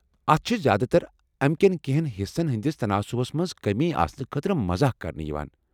اتھ چھ زیادٕتر امکیٛن کٮ۪نٛہن حصن ہٕنٛدس تناسبس منٛز کٔمی آسنہٕ خٲطرٕ مزاق کرنہٕ یوان ۔